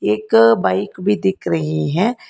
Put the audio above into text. एक बाइक भी दिख रही है।